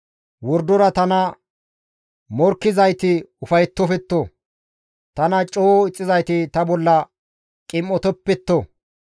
Wordora tana morkkizayti ufayettofetto; tana coo ixxizayti ta bolla qim7otoppetto.